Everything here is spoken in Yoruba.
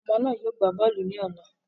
Àwọn ọmọ náà yóò gbá bọ́ọ̀lù ní ọ̀la